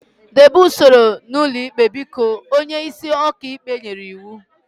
Debe usoro n'ụlọ ikpe biko! Onye isi ọka ikpe nyere iwu